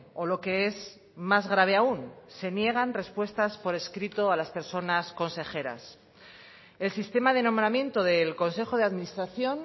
o lo que es más grave aún se niegan respuestas por escrito a las personas consejeras el sistema de nombramiento del consejo de administración